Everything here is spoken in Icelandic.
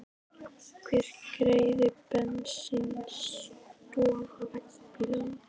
Hver greiðir bensínkostnað vegna bílsins?